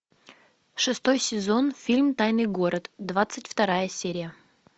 шестой сезон фильм тайный город двадцать вторая серия